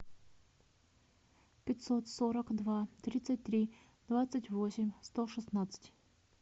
пятьсот сорок два тридцать три двадцать восемь сто шестнадцать